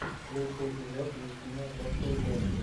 лучший эпизод ефима бростудио